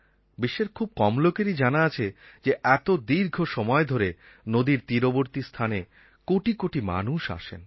বিশ্বের খুব কম লোকেরই জানা আছে যে এত দীর্ঘ সময় ধরে নদীর তীরবর্তী স্থানে কোটি কোটি মানুষ আসেন